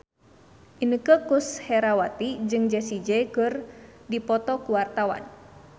Inneke Koesherawati jeung Jessie J keur dipoto ku wartawan